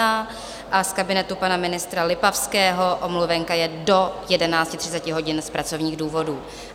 A z kabinetu pana ministra Lipavského omluvenka je do 11.30 hodin z pracovních důvodů.